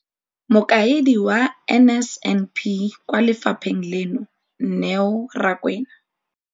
Mokaedi wa NSNP kwa lefapheng leno, Neo Rakwena.